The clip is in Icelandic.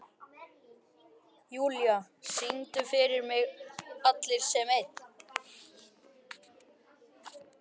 Júlla, syngdu fyrir mig „Allir sem einn“.